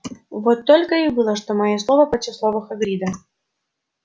вот только и было что моё слово против слова хагрида